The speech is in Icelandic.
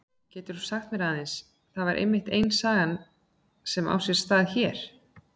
Getur þú sagt mér aðeins, það er einmitt ein saga sem á sér stað hér?